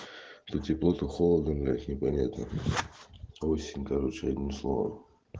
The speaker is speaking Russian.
что тепло то холодно блядь не понятно осень короче одним словом